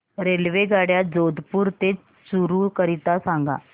रेल्वेगाड्या जोधपुर ते चूरू करीता सांगा